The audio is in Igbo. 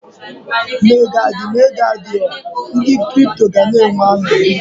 Ma ego adị, ma ego adịghị, ndị kripto gana enwe aṅụrị.